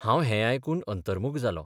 हांव है आयकून अंतर्मुख जालों.